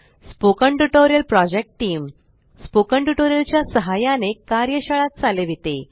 spoken tutorial project team spoken tutorial च्या सहाय्याने कार्यशाळा चालविते